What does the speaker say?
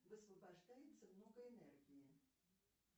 высвобождается много энергии